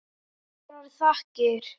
Kærar þakkir